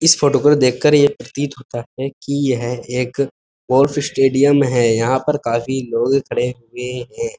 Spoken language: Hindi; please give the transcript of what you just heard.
इस फोटो को देख कर ये प्रतीत होता है की यह एक गोल्फ स्टेडियम है यहाँ पर काफी लोग खड़े हुए है।